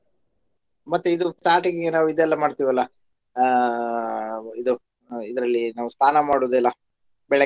ಮತ್ತೆ ಇದು starting ಗೆ ನಾವು ಇದೆಲ್ಲಾ ಮಾಡ್ತಿವಲ್ಲ ಆಹ್ ಇದು ಹ ಇದ್ರಲ್ಲಿ ನಾವ್ ಸ್ನಾನ ಮಾಡುದೆಲ್ಲ ಬೆಳಗ್ಗೆ.